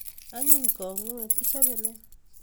anyiny kang'uet ichape nee